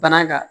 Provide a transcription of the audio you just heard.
Bana ka